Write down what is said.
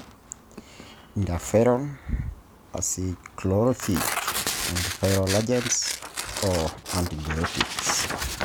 Interferon, acyclovir, antiviral agents,o antibiotics.